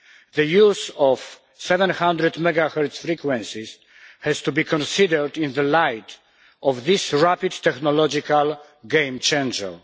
The use of 700MHz frequencies has to be considered in the light of this rapid technological game changer.